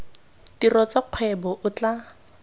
tiro tsa kgwebo o tla